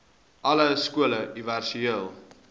alle skole universele